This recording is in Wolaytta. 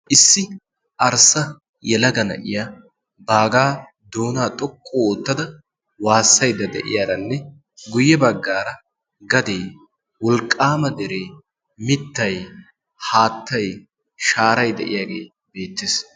issi arssa yelaga na'iya baagaa doonaa xoqqu oottada waassaida de'iyaaranne guyye baggaara gadee wolqqaama deree mittay haattay shaaray de'iyaagee beettees.